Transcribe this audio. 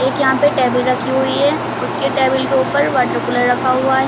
एक यहां पे टेबल रखी हुई है उसके टेबल के ऊपर वाटर कूलर रखा हुआ है।